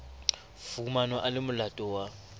fumanwa a le molato wa